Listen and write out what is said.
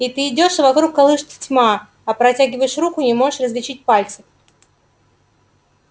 и ты идёшь а вокруг колышется тьма а протягиваешь руку не можешь различить пальцев